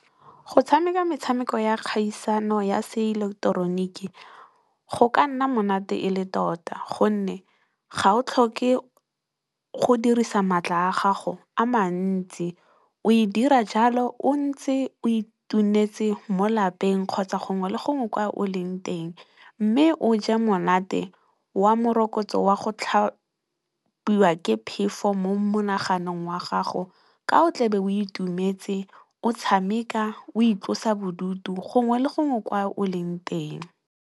Go tshameka metshameko ya kgaisano ya se ileketeroniki go ka nna monate e le tota. Gonne, ga o tlhoke go dirisa maatla a gago a mantsi o e dira jalo o ntse o itunetse mo lapeng kgotsa, gongwe le gongwe kwa o leng teng mme, o ja monate wa morokotso wa go tlhabiwa ke phefo mo monaganong wa gago, ka o tla be o itumetse, o tshameka, o itlosa bodutu gongwe le gongwe kwa o leng teng.